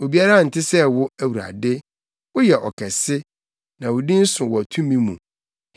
Obiara nte sɛ wo, Awurade; woyɛ ɔkɛse na wo din so wɔ tumi mu.